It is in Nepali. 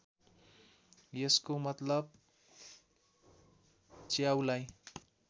यसको मतलब च्याउलाई